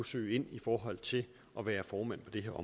søge ind i forhold til at være formænd på det her